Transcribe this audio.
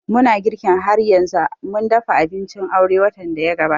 Muna girki har yanzu, mun dafa abincin aure watan daya gabata